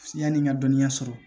Yani n ka dɔnniya sɔrɔ